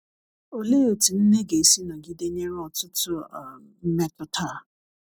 olee etụ nne ga esi nọgide nyere ọtụtụ um mmetụta a.